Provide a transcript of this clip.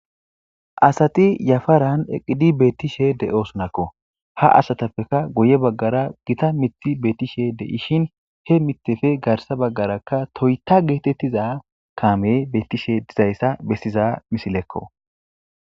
Assati yafaran eqqidi bettishe de'osonakko ha asatappeka guye baggara giita miththi bettishe de'ishin he miththeppe garsa bagara toyitta giza kammeyi bettishe dizayissa bessza missilekko.